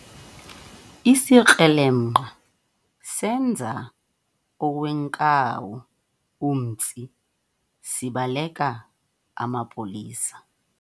Isikrelemnqa senza owenkawu umtsi sibaleka amapolisa